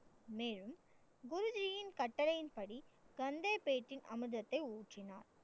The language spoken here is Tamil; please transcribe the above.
மேலும் குருஜியின் கட்டளையின்படி கங்கை பேட்டி அமிர்தத்தை ஊற்றினார்.